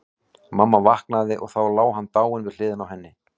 Mamma vaknaði og þá lá hann dáinn við hliðina á henni.